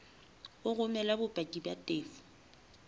o romele bopaki ba tefo